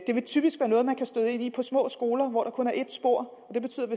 det vil typisk være noget man kan støde ind i på små skoler hvor der kun er ét spor